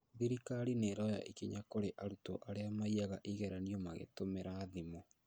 Thirikari nĩroya ikinya kũrĩ arutwo arĩa maiyaga igeranio magĩtũmira thimũ